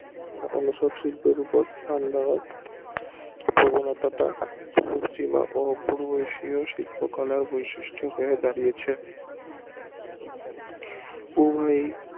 অন্য সব শিল্পের ওপর সমান্তরাল প্রবণতা টা পূর্ব এশিয়ার শিল্প কলার বৈশিষ্ট হয় দাঁড়িয়েছে উভয়েই